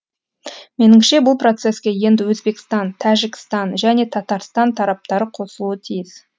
меніңше бұл процеске енді өзбекстан тәжікстан және татарстан тараптары қосылуы тиіс